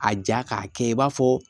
A ja k'a kɛ i b'a fɔ